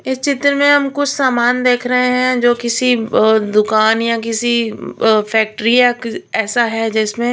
इस चित्र में हम कुछ सामान देख रहे है जो किसी अह दुकान या किसी अह फैक्टरी या कि ऐसा है जिसमें --